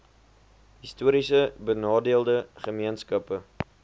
histories benadeelde gemeenskappe